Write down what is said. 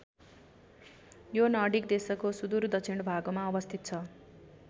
यो नर्डिक देशहरूको सुदूर दक्षिण भागमा अवस्थित छ।